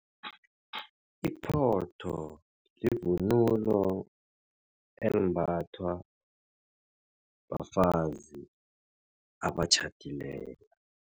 Iphotho yivunulo embathwa bafazi abatjhadileko.